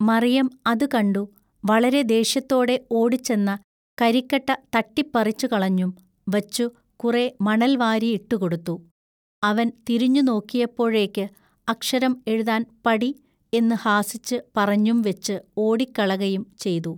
മറിയം അതു കണ്ടു വളരെ ദേഷ്യത്തോടെ ഓടിച്ചെന്ന കരിക്കട്ട തട്ടിപ്പറിച്ചുകളഞ്ഞും വച്ചു കുറെ മണൽവാരി ഇട്ടുകൊടുത്തു അവൻ തിരിഞ്ഞു നോക്കിയപ്പോഴേക്ക് അക്ഷരം എഴുതാൻ പടി എന്നു ഹാസിച്ച് പറഞ്ഞും വെച്ചു ഓടിക്കളകയും ചെയ്തു.